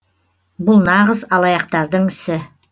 бұл нағыз алаяқтардың ісі